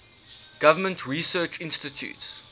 government research institutes